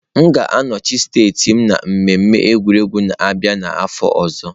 M ga-anọchi anya steeti m na mmemme egwuregwu na-abịa n'afọ ọzọ.